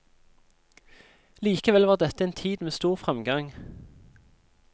Likevel var dette en tid med stor fremgang.